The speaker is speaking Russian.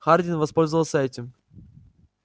хардин воспользовался этим